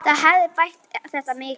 Það hefði bætt þetta mikið.